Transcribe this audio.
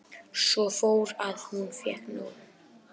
Svo fór að hún fékk nóg.